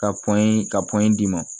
Ka ka d'i ma